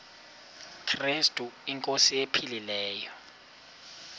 krestu inkosi ephilileyo